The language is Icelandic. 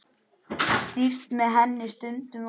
Stýrt með henni stundum var.